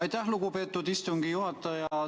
Aitäh, lugupeetud istungi juhataja!